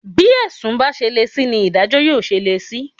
Bí ẹ̀sùn bá ṣe le sí ni ìdájọ́ yóò ṣe le sí